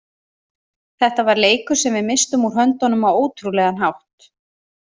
Þetta var leikur sem við misstum úr höndunum á ótrúlegan hátt.